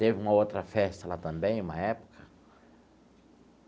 Teve uma outra festa lá também, uma época.